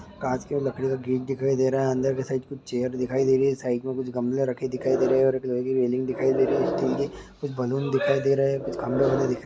कांच के और लकड़ी का गेट दिखाई दे रहा है अंदर क साइड कुछ चेयर दिखाई दे रही है साइड में कुछ गमले राखी दिखाई रही है रेलिंग दिखाई दे रही है स्टील के कुछ बैलून दिखाई दे रहे है कुछ--